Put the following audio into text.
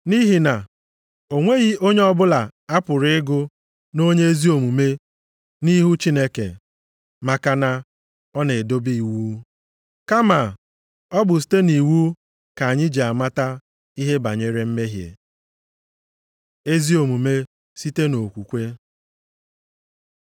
Nʼihi na o nweghị onye ọbụla a pụrụ ịgụ nʼonye ezi omume nʼihu Chineke maka na ọ na-edebe iwu. Kama, ọ bụ site nʼiwu ka anyị ji mata ihe banyere mmehie. Ezi omume site nʼokwukwe